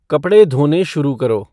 कपड़े धोने शुरू करो